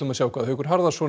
sjá hvað Haukur Harðarson